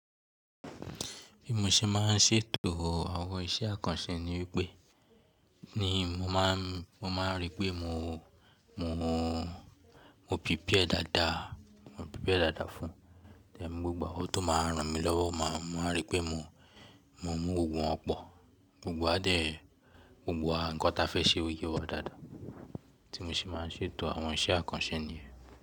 Bí mo ṣe máa ń ṣètò àwọn iṣẹ́ àkànṣe ni wípé, ni mo máa ń, mo máa ń rí pé mo, mo, mo prepare dáadáa, mo prepare dáadáa fún, gbogbo awon to máa ran mi lọ́wọ́, máa rí pé mo, mo mú gbogbo wọn pọ̀, gbogbo wá dẹ̀, gbogbo wa nkan ta fẹ́ ṣe ó yé wa dáadáa. Tí mo ṣe máa ń ṣètò àwọn iṣẹ́ àkànṣe niyen.